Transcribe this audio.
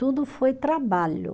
Tudo foi trabalho.